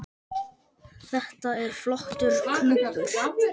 Þetta er flottur klúbbur